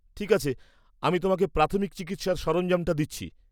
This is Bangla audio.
ঠিক আছে, আমি তোমাকে প্রাথমিক চিকিৎসার সরঞ্জামটা দিচ্ছি।